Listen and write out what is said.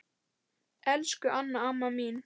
Elsku Anna amma mín.